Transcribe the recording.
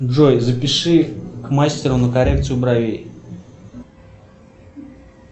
джой запиши к мастеру на коррекцию бровей